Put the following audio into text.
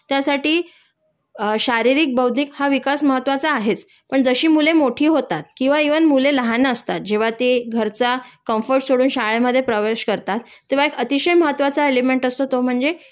त्यासाठी अ शारीरिक बौद्धिक हा विकास महत्वाचा आहेच पण जशी मुले मोठी होतात किंवा इव्हन मुले लहान असतात जेंव्हा ते घराचा कंफर्ट सोडून शाळेमधे प्रवेश करतात तेंव्हा एक अतिशय महत्वाचा एलिमेंट असतो तो म्हणजे